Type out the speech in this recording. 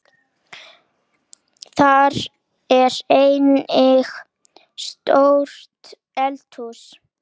Þar er einnig stórt eldhús.